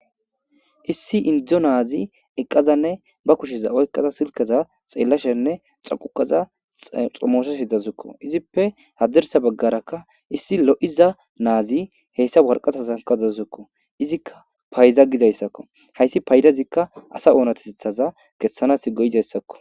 Issi indzdzo naazi eqqazanne ba kusheza oykqaza silkeza xeellashenne xaquqaza xomooshe sidazukko izippe haddersa baggarakka issi lo7iza naazi heyssa warqatazankazazzukko izikka payda gidayssakko hayssi paydazikka asa oonatesithaza kessanas goyidayssakko